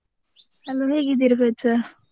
Hello ಹೇಗಿದ್ದೀರಿ ಪ್ರಜ್ವಲ್?